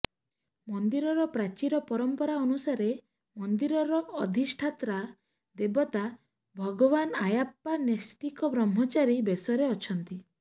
ମନ୍ଦିରର ପ୍ରାଚୀର ପରମ୍ପରା ଅନୁସାରେ ମନ୍ଦିରର ଅଧିଷ୍ଠାତ୍ରା ଦେବତା ଭଗବାନ ଆୟାପ୍ପା ନୈଷ୍ଠିକ ବ୍ରହ୍ମଚାରୀ ବେଶରେ ଅଛନ୍ତି